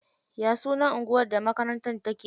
Ya sunan anguwar da makarantar take?